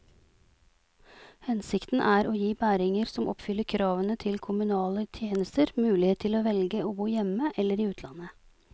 Hensikten er å gi bæringer som oppfyller kravene til kommunale tjenester, mulighet til å velge å bo hjemme eller i utlandet.